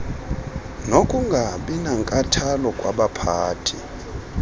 nokungabi nankathalo kwabaphathi